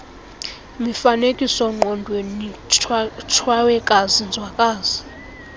mifanekisoongqondweni tshawekazi nzwakazi